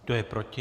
Kdo je proti?